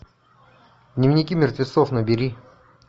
дневники мертвецов набери